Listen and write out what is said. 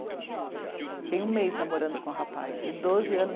Fiquei um mês namorando com o rapaz, eu doze anos